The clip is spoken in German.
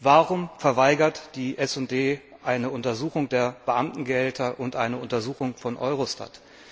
Warum verweigert die SD eine Untersuchung der Beamtengehälter und eine Untersuchung von Eurostat?